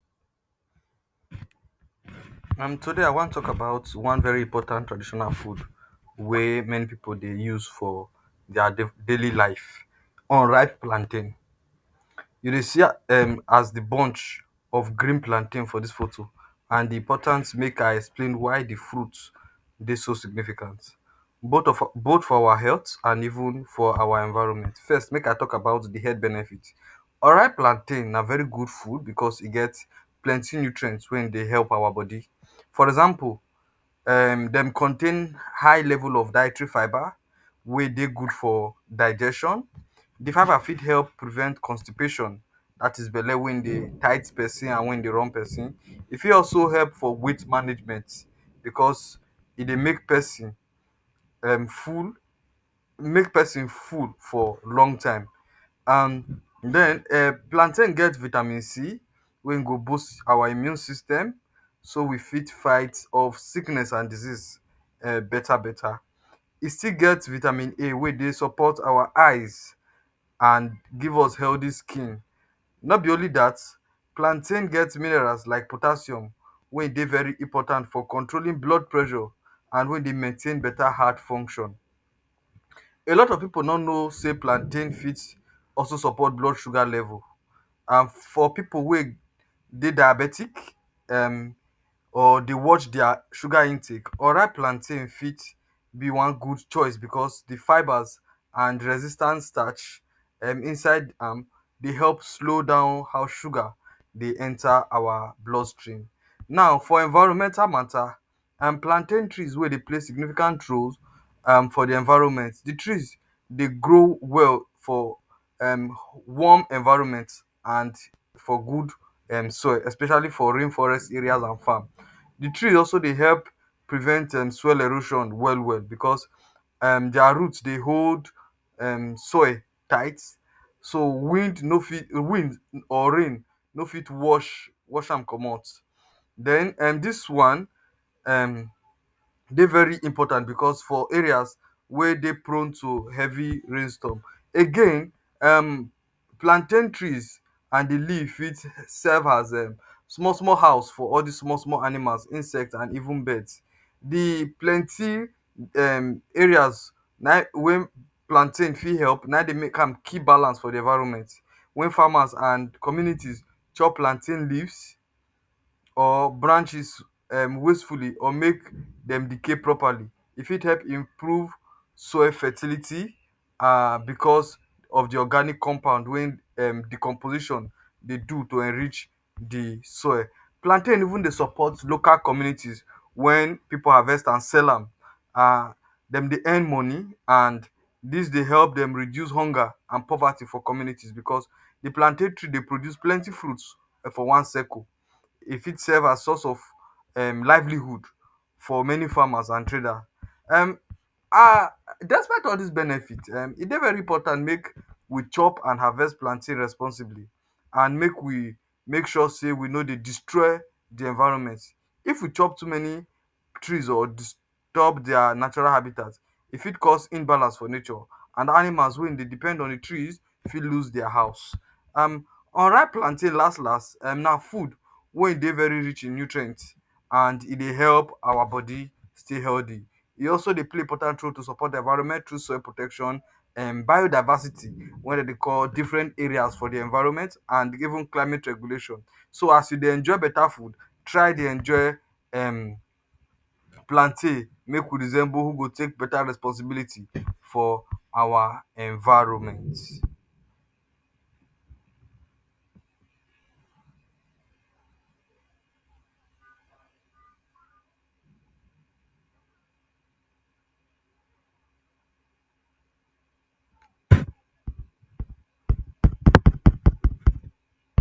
um Today I wan tok about one very important traditional food wey many pipu dey use for dia daily life unripe plantain. You dey see um as di bunch of green plantain for dis photo. And di importance, make I explain why di fruits dey so significant both for our health and even for our environment. First, make I tok about di health benefit. Unripe plantain na very good food bicos e get plenty nutrients wey e dey help our body. For example,[um], dem contain high level of dietary fiber wey dey good for digestion. Di fiber fit help prevent constipation, dat is belle wey e dey tight pesin and wey dey run pesin. E fit also help for weight management bicos e dey make pesin um full, um make pesin full for long time. And den, um plantain get vitamin C wey e go boost our immune system so we fit fight off sickness and disease [um]betta betta. E still get vitamin A wey dey support our eyes and give us healthy skin. No be only dat, plantain get minerals like potassium wey e dey very important for controlling blood pressure and wey dey maintain betta heart function. A lot of pipu no know say plantain fit also support blood sugar level. And for pipu wey dey diabetic um or dey watch dia sugar intake, unripe plantain fit be one good choice bicos di fibers and resistance starch inside um am dey help slow down how sugar um dey enta our blood stream. Now for environment matta and um plantain trees wey dey play significant role for di environment. um Di trees dey grow well for um warm environment and for good um soil, especially for rain forest areas and farm. Di tree also dey help prevent um soil erosion well well bicos dia root dey hold, um soil tight so wind no fit or rain no fit wash am comot. Den [um]dis one um dey very important bicos for areas wey dey prone to heavy rainstorm. Again, um plantain trees and di leaves fit serve as small small house for all dis small small animals, insects and even birds. Di plenty um areas wey plantain fit help am keep balance for di environment. Wen farmers and community chop plantain leaves or branches um wastefully or make dem decay properly, e fit help improve soil fertility um bicos of di organic compound wey um di composition dey do to enrich di soil. Plantain even dey support local communities. Wen pipu harvest and sell am, dem dey earn money and dis dey help dem reduce hunger and poverty for community bicos di plantain tree dey produce plenty fruits for um one circle, e fit serve as source of um livelihood for many farmers and trader, um ah. Despite all dis benefits,[um] e dey very important make we chop and harvest plantain responsibly and make we make sure say we no dey destroy di environment. If we chop too many trees or disturb dia natural habitat, e fit cause imbalance for nature. And animals wey e dey depend on di trees fit lose dia house. um Unripe plantain last last um na food wey e dey very rich in nutrient and e dey help our body stay healthy. E also dey play important role to support environment through soil protection,[um] biodiversity wey dem dey call diffren areas for di environment, and even climate regulation. So as you dey enjoy betta food, try dey enjoy, um plantain. Make we resemble who go take betta responsibility for our environment.